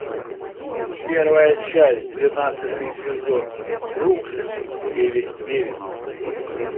первая часть двенадцатый сезон бруклин девять девять